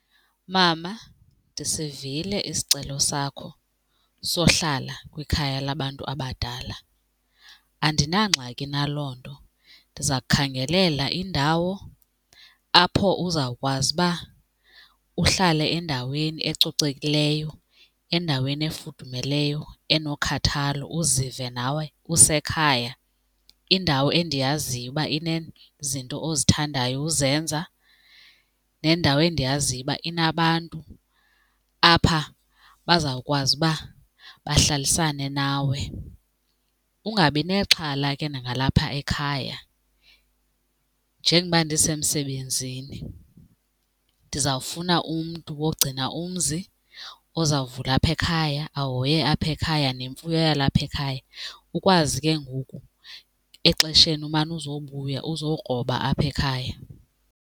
Mama, ndisivile isicelo sakho sohlala kwikhaya labantu abadala. Andinangxaki na loo nto, ndiza kukhangelela indawo apho uzawukwazi uba uhlale endaweni ecocekileyo, endaweni efudumeleyo enokhathalo uzive nawe usekhaya. Indawo endiyaziyo uba inezinto ozithandayo uzenza nendawo endiyaziyo uba inabantu apha bazawukwazi uba bahlalisane nawe. Ungabi nexhala ke nangalapha ekhaya, njengoba ndisemsebenzini ndizawufuna umntu wogcina umzi, ozawuvula apha ekhaya, ahoye apha ekhaya nemfuyo yalapha ekhaya, ukwazi ke ngoku exesheni umane uzobuya uzokroba apha ekhaya.